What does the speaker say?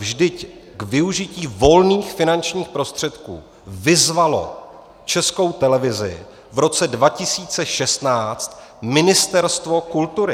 Vždyť k využití volných finančních prostředků vyzvalo Českou televizi v roce 2016 Ministerstvo kultury.